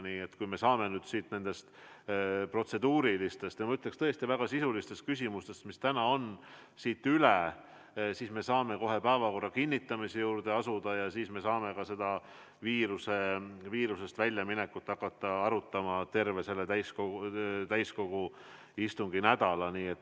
Nii et kui me saaksime nüüd nendest protseduurilistest küsimustest ja, ma ütleksin, tõesti väga sisulistest küsimustest üle, siis me saaksime kohe päevakorra kinnitamise juurde asuda ja siis me saaksime ka viirusest väljaminekut hakata arutama, terve selle täiskogu istunginädala jooksul.